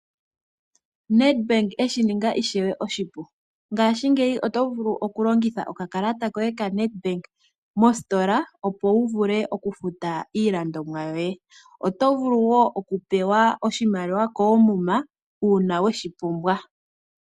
Nedbank eshininga ishewe oshipu, ngashingeyi oto vulu okulongitha okakalata koye koNedbank moositola okufuta iilandomwa, oto vulu woo okupewa oshimaliwa koomuma uuna weshi pumbwa.